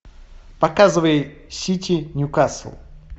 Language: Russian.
показывай сити ньюкасл